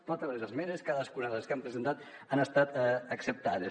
totes les esmenes cadascuna de les que han presentat han estat acceptades